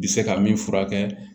Bi se ka min furakɛ